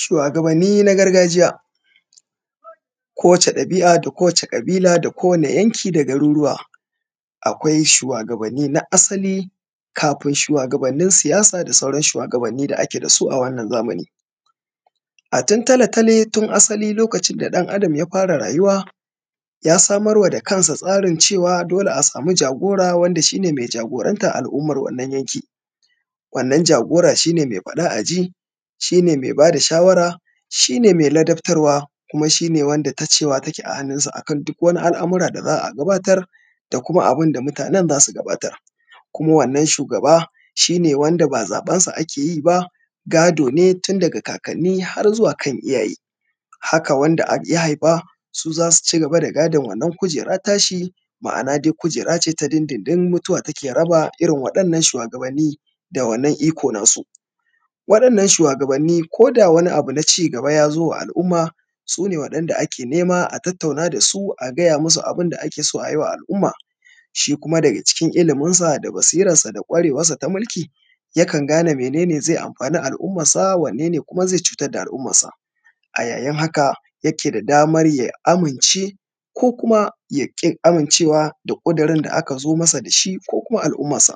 shuwagabanni na gargajiya kowace ɗabi’a da kowace ƙabila da kowane yanki da garuruwa akwai shuwagabanni na asali kafin shuwagabannin siyasa da sauran shuwagabanni da ake da su a wannan zamani a tun tale tale tun asali lokacin da ɗan adam ya fara rayuwa ya samar wa da kansa tsarin cewa dole a samu jagora wanda shi ne mai jagorantar alummar wannan yanki: wannan jagora shi ne mai faɗa a ji shi ne mai ba da shawara shi ne mai ladabtarwa kuma shi ne wanda ta cewa take a hannunsa a kan duk wani al’amura da za a gabatar da kuma abin da mutanen za su gabatar kuma wannan shugaba shi ne wanda ba zaɓensa ake yi ba gado ne tun daga kakanni har zuwa kan iyaye haka wanda ya ya haifa su za su ci gaba da gadon wannan tashi ma’ana dai kujera ce ta dindindin mutuwa take raba irin waɗannan shuwagabanni da wannan iko nasu waɗannan shuwagabanni ko da wani abu na ci gaba ya zo wa al’umma su ne waɗanda ake nema a tattauna da su a gaya musu abin da ake so a yi wa al’umma shi kuma daga cikin iliminsa da basirarsa da ƙwarewarsa ta mulki yakan gane mene ne zai amfani al’ummarsa wanne ne kuma zai cutar da al’ummarsa a yayin haka yake da damar ya amince ko kuma ya ƙi amincewa da ƙudurin da aka zo masa da shi ko kuma al’ummarsa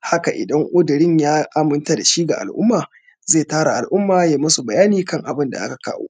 haka idan ƙudurin ya aminta da shi ga al’umma zai tara al’umma ya yi musu bayani kan abin da aka kawo